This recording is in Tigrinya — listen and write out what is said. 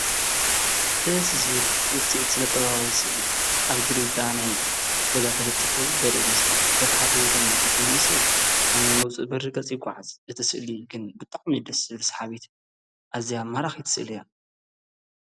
ደስ ዝብል ውፅኢት ስነጥበባዊ ስእሊ ኣብ ግድግዳ ናይ ገዛ ተለጢፉ ዘርኢ ምስሊ በታ ሓደ ወገን እቲ መንእሰይ ኣብ ናይ መውፅኢ በሪ ገፅ ይጐዓዝ እቲ ሥእሊ ግን ብጣዕሚ እዩ ደሥ ዝብል ሰሓቢት ኣዚያ ማራኺት ስእል እያ